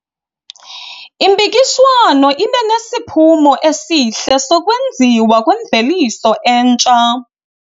Impikiswano ibe nesiphumo esihle sokwenziwa kwemveliso entsha.